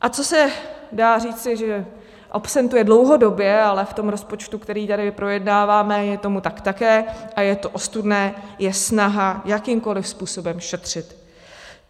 A co se dá říci, že absentuje dlouhodobě, ale v tom rozpočtu, který tady projednáváme, je tomu tak také a je to ostudné, je snaha jakýmkoliv způsobem šetřit.